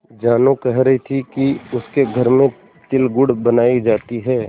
जानू कह रही थी कि उसके घर में तिलगुड़ बनायी जाती है